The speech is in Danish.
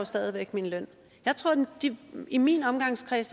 stadig væk min løn i min omgangskreds